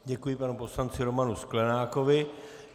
Děkuji panu poslanci Romanu Sklenákovi.